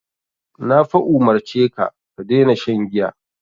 Na fa umurce ka "ka daina shan giya".